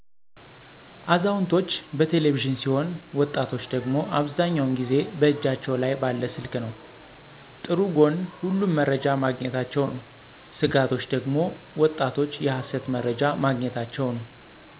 አዛውንቶች በቴለቪዥን ሲሆን ወጣቶች ደግሞ አብዛኛው ጊዜ እጃቸው ላይ ባለ ስልክ ነው። ጥሩ ጎኑ ሁሉም መረጃ ማግኝታቸ ነው። ስጋቶች ደግሞ ወጣቶች የሀሰት መርጃ ማግኝታቸው ነው።